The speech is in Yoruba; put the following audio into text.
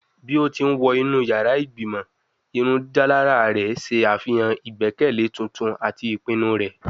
Bi o ti n wọ inu yara igbimọ, irundidalara rẹ ṣe afihan igbẹkẹle tuntun ati ipinnu rẹ